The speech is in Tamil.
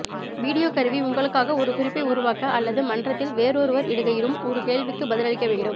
வீடியோ கருவி உங்களுக்காக ஒரு குறிப்பை உருவாக்க அல்லது மன்றத்தில் வேறொருவர் இடுகையிடும் ஒரு கேள்விக்கு பதிலளிக்க வேண்டும்